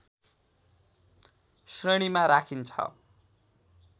श्रेणीमा राखिन्छ